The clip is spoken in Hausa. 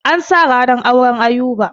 An sa ranar auren Ayuba.